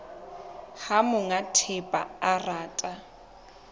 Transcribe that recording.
ha monga thepa a rata